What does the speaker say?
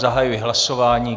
Zahajuji hlasování.